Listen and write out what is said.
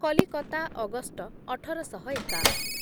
Calcutta August ଅଠର ଶହ ଏକାଅଶୀ ମସିହାରେ